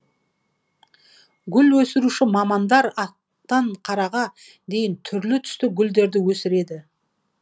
гүл өсіруші мамандар ақтан қараға дейін түрлі түсті гүлдерді өсірді